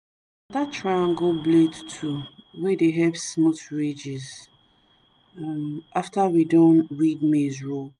na that triangle blade tool dey help smooth ridges after we don weed maize row